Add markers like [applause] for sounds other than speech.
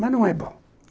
[unintelligible] não é bom.